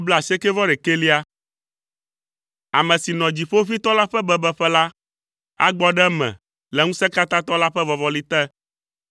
Ame si nɔ Dziƒoʋĩtɔ la ƒe bebeƒe la agbɔ ɖe eme le Ŋusẽkatãtɔ la ƒe vɔvɔli te.